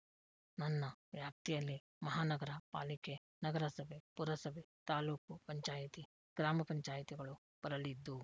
ನನ್ನ ವ್ಯಾಪ್ತಿಯಲ್ಲಿ ಮಹಾನಗರ ಪಾಲಿಕೆ ನಗರಸಭೆ ಪುರಸಭೆ ತಾಲ್ಲೂಕು ಪಂಚಾಯಿತಿ ಗ್ರಾಮ ಪಂಚಾಯಿತಿಗಳು ಬರಲಿದ್ದು